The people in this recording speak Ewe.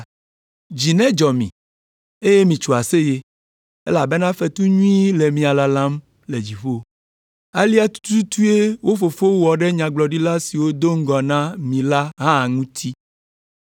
“Dzi nedzɔ mi, eye mitso aseye, elabena fetu nyui le mia lalam le dziƒo. Alea tututue wo fofowo wɔ ɖe nyagblɔɖila siwo do ŋgɔ na mi la hã ŋuti.